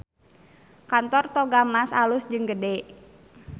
Kantor Toga Mas alus jeung gede